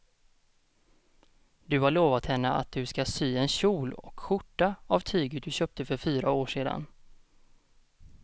Du har lovat henne att du ska sy en kjol och skjorta av tyget du köpte för fyra år sedan.